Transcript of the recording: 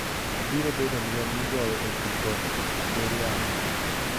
Obirobedo lweny migoyo e pi kod kor yamo